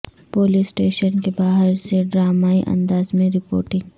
police station کے باہر سے ڈرامائی انداز میں رپورٹنگ